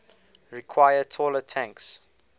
require taller tanks